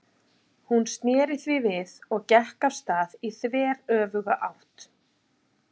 Hún sneri því við og gekk af stað í þveröfuga átt.